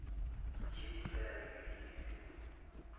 šetše fela dibeke di se